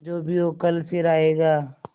जो भी हो कल फिर आएगा